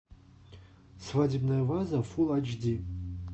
свадебная ваза фул айч ди